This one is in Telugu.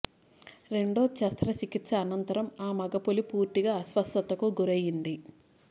రెండో శస్త్రచికిత్స అనంతరం ఆ మగ పులి పూర్తిగా అస్వస్థతకు గురైంది